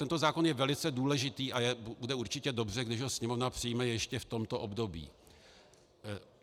Tento zákon je velice důležitý a bude určitě dobře, když ho Sněmovna přijme ještě v tomto období.